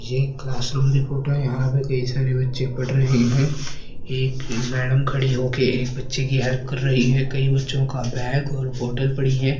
यह एक क्लासरूम की फोटो है। यहां पर कई सारे बच्चे पढ़ रहे हैं। एक मैडम खड़ी होके एक बच्चे की हेल्प कर रही है कई बच्चों का बैग और बोतल पड़ी है।